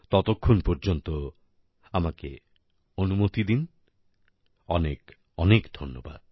ততক্ষণ পর্যন্ত আমাকে অনুমতি দিন অনেকঅনেক ধন্যবাদ